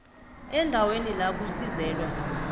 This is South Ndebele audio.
eendaweni la kusizelwa